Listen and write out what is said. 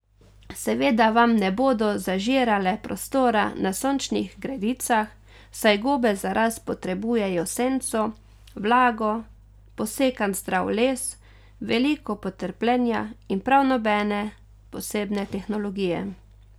Seveda vam ne bodo zažirale prostora na sončnih gredicah, saj gobe za rast potrebujejo senco, vlago, posekan zdrav les, veliko potrpljenja in prav nobene posebne tehnologije.